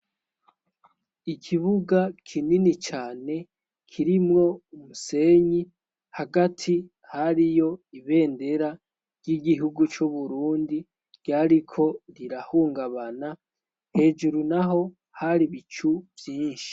Ikibuga kinini cane kirimwo umusenyi hagati hariyo ibendera ry'igihugu co burundi ryariko rirahungabana hejuru na ho hari bicu vyinshi.